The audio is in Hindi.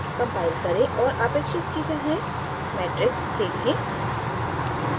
compile करें और आपेक्षित की तरह matrix देखें